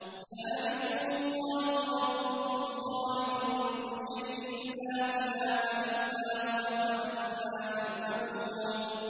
ذَٰلِكُمُ اللَّهُ رَبُّكُمْ خَالِقُ كُلِّ شَيْءٍ لَّا إِلَٰهَ إِلَّا هُوَ ۖ فَأَنَّىٰ تُؤْفَكُونَ